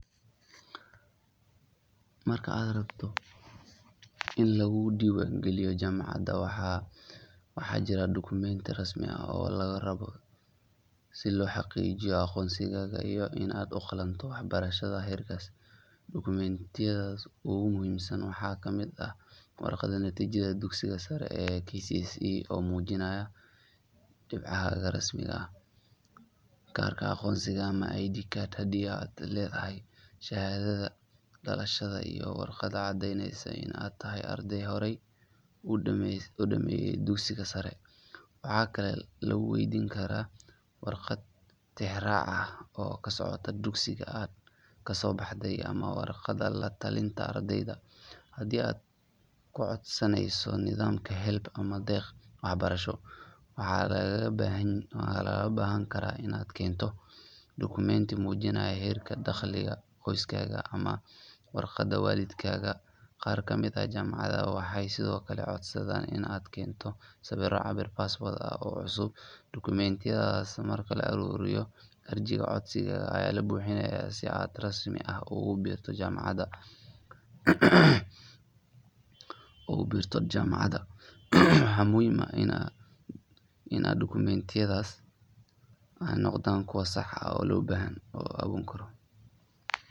Marka aad rabto in lagu diiwaangeliyo jaamacad, waxaa jira dukumeenti rasmi ah oo lagaa rabo si loo xaqiijiyo aqoonsigaaga iyo in aad u qalanto waxbarashada heerkaas. Dukumeentiyada ugu muhiimsan waxaa ka mid ah warqadda natiijada dugsiga sare ee KCSE oo muujinaysa dhibcahaaga rasmiga ah, kaarka aqoonsiga ama ID card haddii aad leedahay, shahaadada dhalashada, iyo warqad caddeyneysa in aad tahay arday horey u dhammeysay dugsiga sare. Waxaa kaloo lagu weydiin karaa warqad tixraac ah oo ka socota dugsigii aad kasoo baxday ama warqadda la talinta ardayga. Haddii aad ku codsanayso nidaamka HELB ama deeq waxbarasho, waxaa lagaaga baahan karaa inaad keento dukumeenti muujinaya heerka dakhliga qoyskaaga ama waraaqda waalidkaaga. Qaar ka mid ah jaamacadaha waxay sidoo kale codsadaan in aad keento sawirro cabbir passport ah oo cusub. Dukumeentiyadaas marka la aruuriyo, arjiga codsiga ayaa la buuxiyaa si aad si rasmi ah ugu biirto jaamacadda. Waxaa muhiim ah in dukumeentiyadaasi ay noqdaan kuwo sax ah oo aan been abuur ahayn.